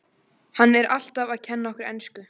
Hann er alltaf að kenna okkur ensku!